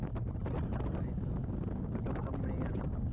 তাইতো আচমকা মরে গেলো